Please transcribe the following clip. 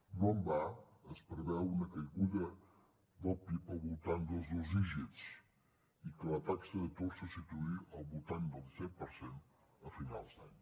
no en va es preveu una caiguda del pib al voltant dels dos dígits i que la taxa d’atur se situï al voltant del disset per cent a finals d’any